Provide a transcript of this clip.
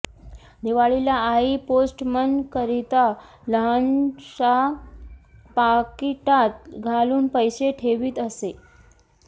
दिवाळीला आई पोस्टमनकरिता लहानशा पाकिटात घालून पैसे ठेवीत असे